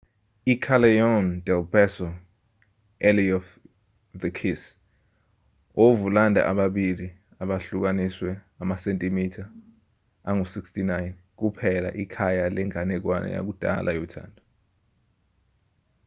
i-callejon del beso alley of the kiss. ovulanda ababili abahlukaniswe amasentimitha angu-69 kuphela ikhaya lenganekwana yakudala yothando